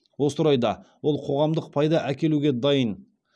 осы орайда ол қоғамдық пайда әкелуге дайын